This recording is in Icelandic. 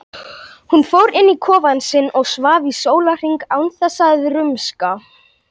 Hún fór inn í kofann sinn og svaf í sólarhring án þess að rumska.